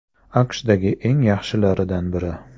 AQShdagi eng yaxshilaridan biri.